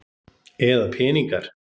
Eða peningar?